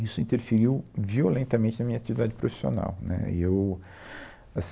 Isso interferiu violentamente na minha atividade profissional. Né, e eu, assim